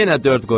Yenə dörd qoy.